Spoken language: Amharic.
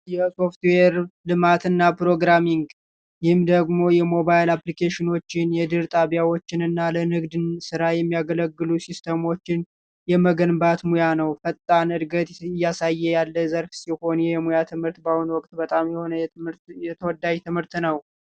የሶፍትዌር ልማትና ፕሮግራሚንግ ይህ ደግሞ የሞባይል አፕሊኬሽኖችን የድህረገጽ ጣቢያዎችንና ለንግድ ስራ የሚያገለግሉ ሲስተሞችን የመገንባት ሙያ ነው ፈጣን እድገት እያሳየ ያለ ዘርፍ ሲሆን የሙያ ትምህርት በአሁኑ ወቅት በጣም ተወዳጅ የሆነ ትምህርት ነው።